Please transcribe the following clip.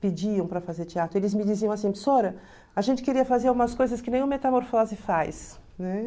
pediam para fazer teatro, eles me diziam assim, a gente queria fazer algumas coisas que nem o Metamorfose faz. Né?